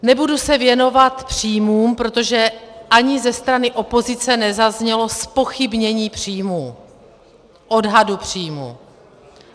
Nebudu se věnovat příjmům, protože ani ze strany opozice nezaznělo zpochybnění příjmů, odhadu příjmů.